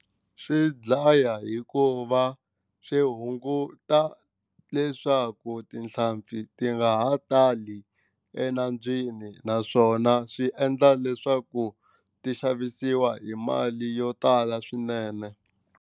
Swi dlaya hikuva swi hunguta leswaku tihlampfi ti nga ha tali enambyeni naswona swi endla leswaku ti xavisiwa hi mali yo tala swinene.